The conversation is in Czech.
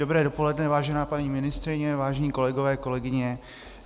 Dobré dopoledne, vážená paní ministryně, vážení kolegové, kolegyně.